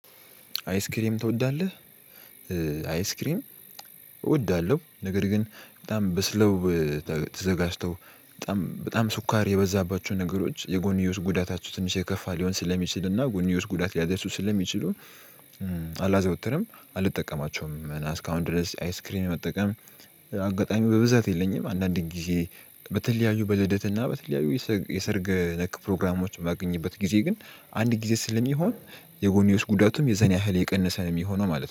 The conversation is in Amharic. አይስክሪም ትወዳለህ? አይስክሪም እወዳለሁ። ነገር ግን በጣም በስለው ተዘጋጅተው በጣም በጣም ስኳር የበዛባችው ነገሮች የጎንዮሽ ጉዳታቸው ትንሽ የከፋ ሊሆን ስለሚችልና እና ጎንዮሽ ጉዳት ሊያደርሱ ስለሚችሉ። አላዘወትርም አልጠቀማቸውም እና እስካሁን ድረስ አይስክሪን መጠቀም አጋጣሚ በብዛት የለኝም። አንዳንድ ጊዜ በተለያዩ በልደትና በተለያዩ የሰርግ ነክ ፕሮግራሞችን ባገኘበት ጊዜ ግን አንድ ጊዜ ስለሚሆን የጎንዮሽ ጉዳቱም የዘን ያህል የቀነሰ ነው የሚሆነው ማለት ነው